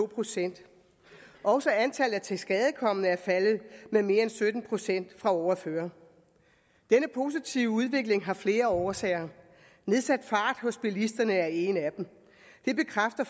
procent også antallet af tilskadekomne er faldet med mere end sytten procent fra året før denne positive udvikling har flere årsager nedsat fart hos bilisterne er en af dem det bekræfter